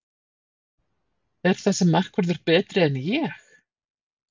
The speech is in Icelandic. Er þessi markvörður betri en Ég?